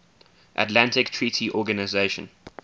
atlantic treaty organisation